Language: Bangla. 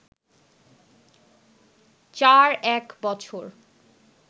৪ এক বছর